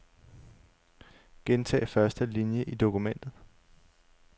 Gentag første linie i dokumentet.